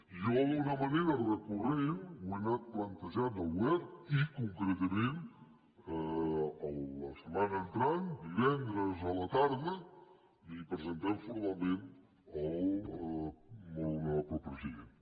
jo d’una manera recurrent ho he anat plantejant al govern i concretament la setmana entrant divendres a la tarda el presentarem formalment al molt honora·ble president